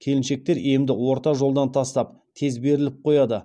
келіншектер емді орта жолдан тастап тез беріліп қояды